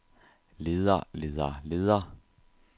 leder leder leder